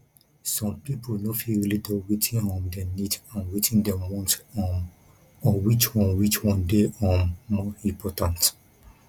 some pipo no fit really tell wetin um dem need and wetin dem want um or which one which one dey um more important